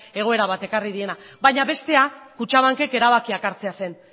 egoera bat ekarri diena baina bestea kutxabankek erabakiak hartzea zen